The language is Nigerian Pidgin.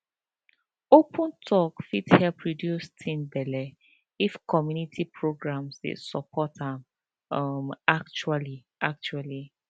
open talk fit help reduce teen belle if community programs dey support am um actually actually